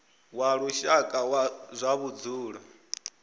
wa lushaka wa zwa vhudzulo